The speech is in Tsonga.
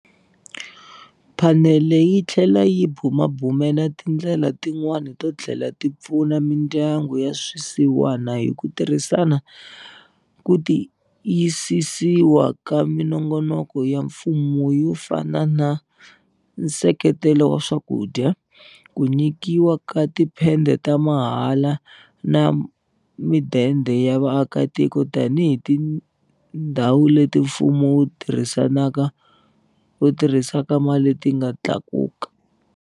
Phanele yi tlhele yi bumabumela tindlela tin'wana to tlhela ti pfuna mindyangu ya swisiwana hi ku tirhisa ku ti yisisiwa ka minongonoko ya mfumo yo fana na nseketelo wa swakudya, ku nyikiwa ka tiphede ta mahala na midende ya vaakitiko tanihi tindhawu leti mfumo wu tirhisaka mali ti nga tlakuka.